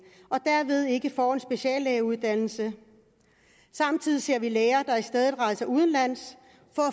og derved ikke får en speciallægeuddannelse samtidig ser vi læger der i stedet rejser udenlands